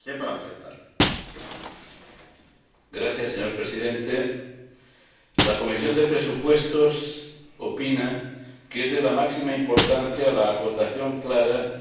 Señor Presidente, la Comisión de Presupuestos opina que es de la máxima importancia la acotación clara de cada uno de los instrumentos presupuestarios.